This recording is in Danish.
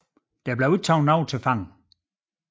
Der blev ikke taget nogen til fange